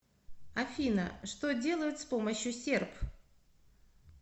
афина что делают с помощью серп